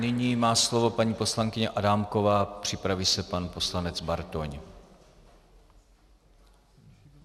Nyní má slovo paní poslankyně Adámková, připraví se pan poslanec Bartoň.